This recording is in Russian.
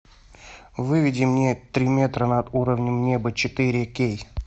выведи мне три метра над уровнем неба четыре кей